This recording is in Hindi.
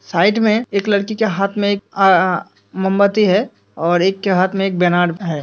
साइड में एक लड़की के हाथ में एक आ अ मोमबत्ती है और एक के हाथ में एक बैनर है।